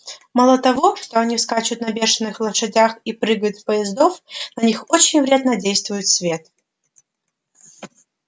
мало того что они скачут на бешеных лошадях и прыгают с поездов на них очень вредно действует свет